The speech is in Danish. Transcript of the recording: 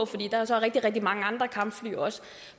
fordi der er så rigtig rigtig mange andre kampfly også